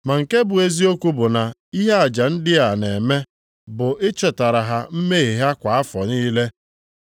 Ma nke bụ eziokwu bụ na ihe aja ndị a na-eme bụ ichetara ha mmehie ha kwa afọ niile.